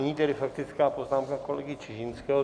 Nyní tedy faktická poznámka kolegy Čižinského.